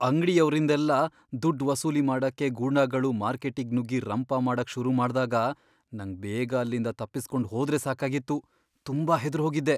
ಅಂಗ್ಡಿಯವ್ರಿಂದೆಲ್ಲ ದುಡ್ಡ್ ವಸೂಲಿ ಮಾಡಕ್ಕೆ ಗೂಂಡಾಗಳು ಮಾರ್ಕೆಟ್ಟಿಗ್ ನುಗ್ಗಿ ರಂಪ ಮಾಡಕ್ ಶುರು ಮಾಡ್ದಾಗ ನಂಗ್ ಬೇಗ ಅಲ್ಲಿಂದ ತಪ್ಪಿಸ್ಕೊಂಡ್ ಹೋದ್ರೆ ಸಾಕಾಗಿತ್ತು, ತುಂಬಾ ಹೆದ್ರೋಗಿದ್ದೆ.